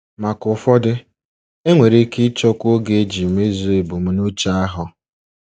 Maka ụfọdụ, enwere ike ịchọkwu oge iji mezuo ebumnuche ahụ.